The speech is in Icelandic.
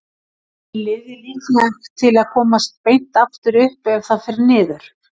Er liðið líklegt til að komast beint aftur upp ef það fer niður?